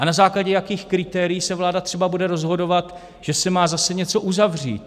A na základě jakých kritérií se vláda třeba bude rozhodovat, že se má zase něco uzavřít?